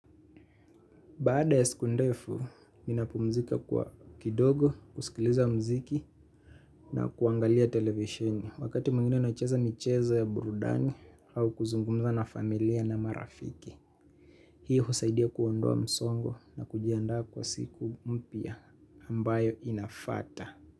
Baada ya siku ndefu, ninapumzika kwa kidogo, kusikiliza muziki na kuangalia televisheni wakati mwingine nacheza michezo ya burudani au kuzungumza na familia na marafiki. Hii husaidia kuondoa msongo na kujiandaa kwa siku mpya ambayo inafuata.